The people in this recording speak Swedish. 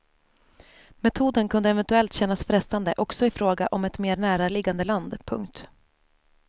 Metoden kunde eventuellt kännas frestande också i fråga om ett mer näraliggande land. punkt